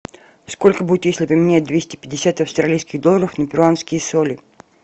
сколько будет если поменять двести пятьдесят австралийских долларов на перуанские соли